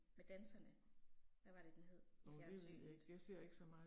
Med danserne, hvad var det den hed? I fjernsynet